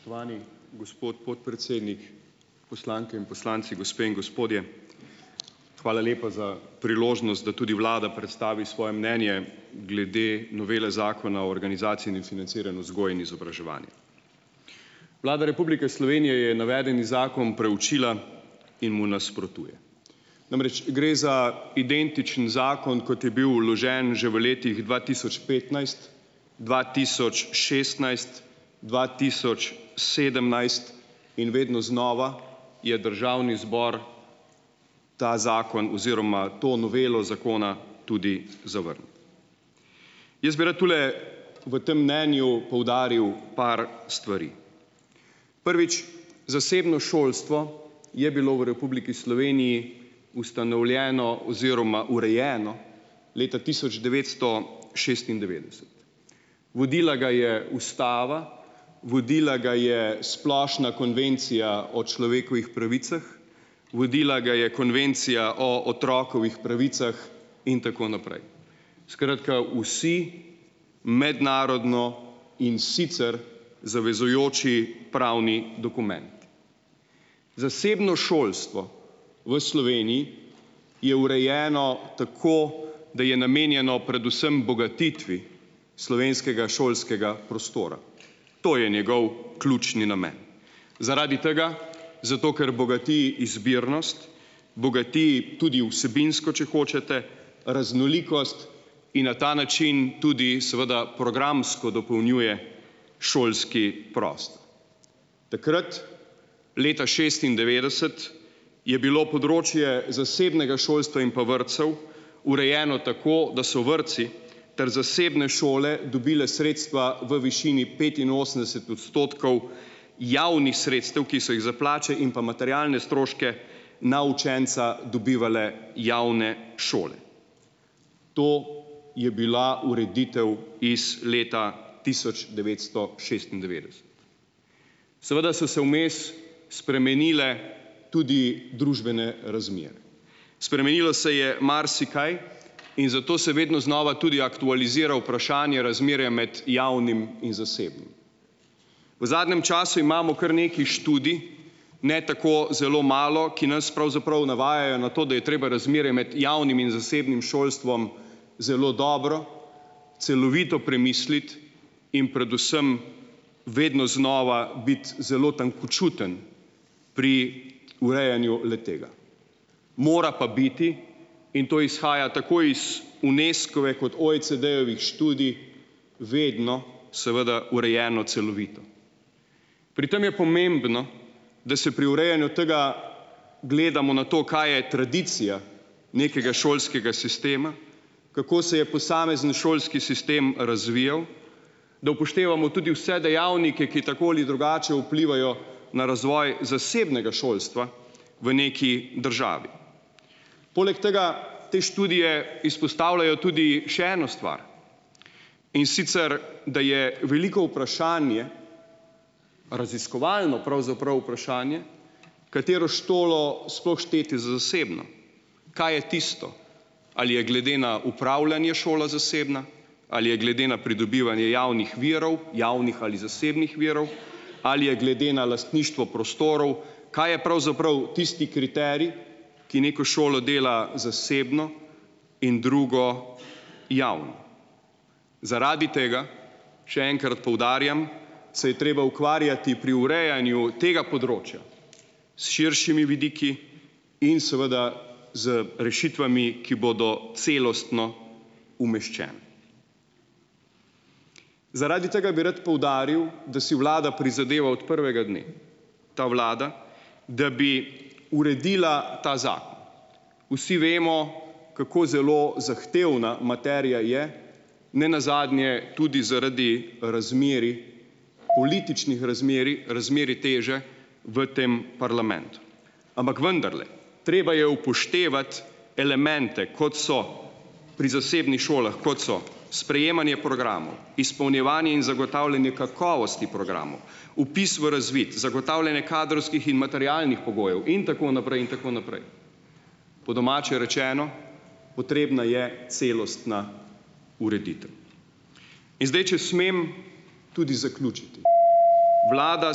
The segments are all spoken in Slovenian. Spoštovani gospod podpredsednik, poslanke in poslanci, gospe in gospodje! Hvala lepa za priložnost, da tudi vlada predstavi svoje mnenje glede novele Zakona o organizaciji in financiranju uzgoje in izobraževanja. Vlada Republike Slovenije je navedeni zakon preučila in mu nasprotuje. Namreč gre za identičen zakon, kot je bil vložen že v letih dva tisoč petnajst, dva tisoč šestnajst, dva tisoč sedemnajst in vedno znova je državni zbor ta zakon oziroma to novelo zakona tudi zavrnil. Jaz bi rad tule v tam mnenju poudaril par stvari. Prvič, zasebno šolstvo je bilo v Republiki Sloveniji ustanovljeno oziroma urejeno leta tisoč devetsto šestindevetdeset. Vodila ga je ustava, vodila ga je Splošna konvencija o človekovih pravicah, vodila ga je Konvencija o otrokovih pravicah, in tako naprej, skratka, vsi mednarodno, in sicer zavezujoči pravni dokumenti. Zasebno šolstvo v Sloveniji je urejeno tako, da je namenjeno predvsem bogatitvi slovenskega šolskega prostora. To je njegov ključni namen. Zaradi tega, zato ker bogati izbirnost, bogati tudi vsebinsko, če hočete, raznolikost in na ta način tudi seveda programsko dopolnjuje šolski prostor. Takrat, leta šestindevetdeset, je bilo področje zasebnega šolstva in pa vrtcev urejeno tako, da so vrtci ter zasebne šole dobili sredstva v višini petinosemdeset odstotkov javnih sredstev, ki so jih za plače in pa materialne stroške na učenca dobivale javne šole. To je bila ureditev iz leta tisoč devetsto šestindevetdeset. Seveda so se vmes spremenile tudi družbene razmere. Spremenilo se je marsikaj, in zato se vedno znova tudi aktualizira vprašanje razmerja med javnim in zasebnim. V zadnjem času imamo kar nekaj študij, ne tako zelo malo, ki nas pravzaprav navajajo na to, da je treba razmerje med javnim in zasebnim šolstvom zelo dobro, celovito premisliti in predvsem vedno znova biti zelo tankočuten pri urejanju le-tega, mora pa biti in to izhaja tako iz Unescove kot OECD-jevih študij, vedno seveda urejeno celovito. Pri tem je pomembno, da se pri urejanju tega gledamo na to, kaj je tradicija nekega šolskega sistema, kako se je posamezni šolski sistem razvijal. Da upoštevamo tudi vse dejavnike, ki tako ali drugače vplivajo na razvoj zasebnega šolstva v neki državi. Poleg tega te študije izpostavljajo tudi še eno stvar. In sicer, da je veliko vprašanje - raziskovalno, pravzaprav, vprašanje - katero šolo sploh šteti za zasebno. Kaj je tisto? Ali je glede na upravljanje šola zasebna? Ali je glede na pridobivanje javnih virov - javnih ali zasebnih virov? Ali je glede na lastništvo prostorov? Kaj je pravzaprav tisti kriterij, ki neko šolo dela zasebno in drugo javno. Zaradi tega - še enkrat poudarjam - se je treba ukvarjati pri urejanju tega področja s širšimi vidiki in seveda z rešitvami, ki bodo celostno umeščene. Zaradi tega bi rad poudaril, da si vlada prizadeva ot prvega dne - ta vlada - da bi uredila ta zakon. Vsi vemo, kako zelo zahtevna materija je. Nenazadnje tudi zaradi razmerij - političnih razmerij, razmerij teže - v tem parlamentu. Ampak vendarle - treba je upoštevati elemente, kot so - pri zasebnih šolah - kot so sprejemanje programov, izpolnjevanje in zagotavljanje kakovosti programov, vpis v razvid, zagotavljanje kadrovskih in materialnih pogojev in tako naprej in tako naprej. Po domače rečeno, potrebna je celostna ureditev. In zdaj, če smem tudi zaključiti. Vlada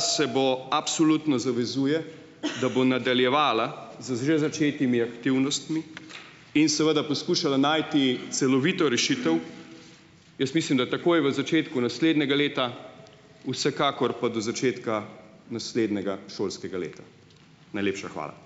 se bo - absolutno zavezuje, da bo nadaljevala z že začetimi aktivnostmi in seveda poskušala najti celovito rešitev. Jaz mislim, da takoj v začetku naslednjega leta, vsekakor pa do začetka naslednjega šolskega leta. Najlepša hvala.